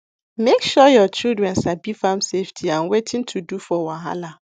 make sure your children sabi farm safety and wetin to do for wahala